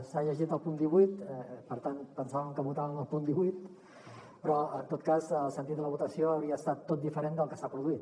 s’ha llegit el punt divuit per tant pensàvem que votàvem el punt divuit però en tot cas el sentit de la votació hauria estat diferent del que s’ha produït